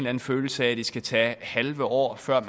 anden følelse af at det skal tage halve år før